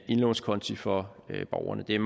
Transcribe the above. indlånskonti for borgerne det er